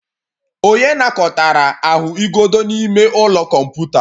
Onye nakọtara ahụigodo n'ime ụlọ kọmputa?